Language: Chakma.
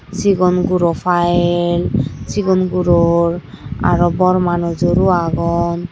sigon guro file sigon guror aro bor manujor o agon.